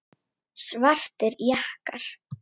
Svartir jakkar.